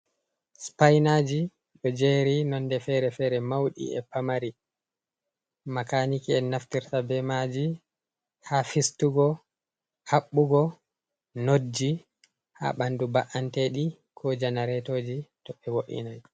Spainaaji ɗo jeri nonde fere-fere, mauɗi e pamari. Makaniki'en naftirta be maaji, haa fistugo, haɓɓugo notji haa ɓandu mba’anteɗi ko janaretoji, to ɓe wo’inai.